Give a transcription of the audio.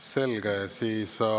Selge!